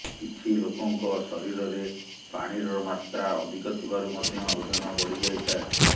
କିଛି ଲୋକଙ୍କ ଶରୀରରେ ପାଣିର ମାତ୍ରା ଅଧିକ ଥିବାରୁ ମଧ୍ୟ ଓଜନ ବଢି ଯାଇଥାଏ